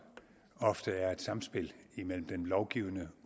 ofte er et samspil imellem den lovgivende